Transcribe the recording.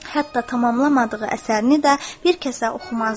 Hətta tamamlamadığı əsərini də bir kəsə oxumazdı.